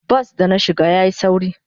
Bas da na shiga yayi sauri.